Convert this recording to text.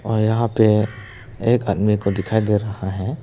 और यहां पे एक अन्य को दिखाई दे रहा है।